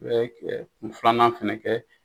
I bɛ i bɛ kun filanan fɛnɛ kɛ.